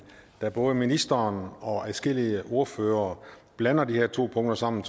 da både ministeren og adskillige ordførere blander de her to punkter sammen